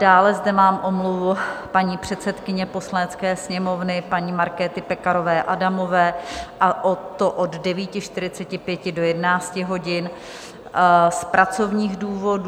Dále zde mám omluvu paní předsedkyně Poslanecké sněmovny paní Markéty Pekarové Adamové, a to od 9.45 do 11 hodin z pracovních důvodů.